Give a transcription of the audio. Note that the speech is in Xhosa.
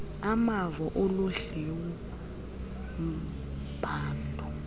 amavo aludliwo mbadu